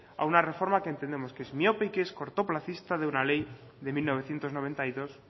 a una reforma que entendemos que es miope y que es cortoplacista de una ley de mil novecientos noventa y dos